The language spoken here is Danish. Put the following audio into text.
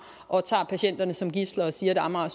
og tager patienterne som gidsler og siger at amager